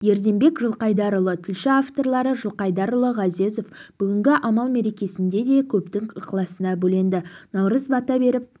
ерденбек жылқайдарұлы тілші авторлары жылқайдарұлы ғазезов бүгінгі амал мерекесінде де көптің ықыласына бөленді наурыз бата беріп